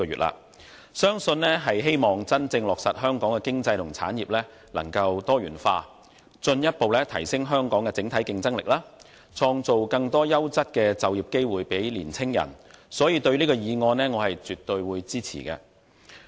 吳議員的議案相信是希望真正落實香港的經濟和產業能夠多元化，進一步提升香港的整體競爭力，創造更多優質的就業機會予年青人，所以我絕對支持這項議案。